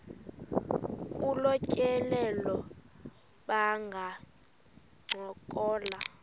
kolu tyelelo bangancokola